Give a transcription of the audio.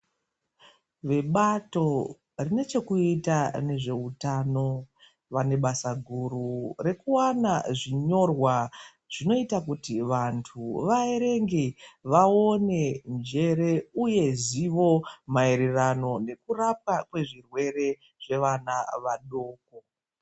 Vebato rinechekuita nezveutano vane basa guru rekuwana zvinyorwa zvinoita kuti vantu vaerenge, vaone njere uye zivo, maererano nekurapa kwezvirwere zvevana vadoko.